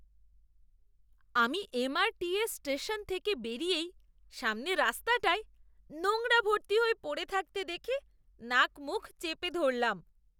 আমি M. R. T. S station থেকে বেরিয়েই সামনে রাস্তাটায় নোংরা ভর্তি হয়ে পড়ে থাকতে দেখে নাকমুখ চেপে ধরলাম।